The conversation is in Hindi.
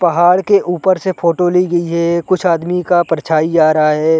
पहाड़ के ऊपर से फोटो ली गई है कुछ आदमी का परछाई आ रहा हैं ।